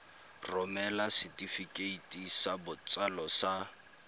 romela setefikeiti sa botsalo sa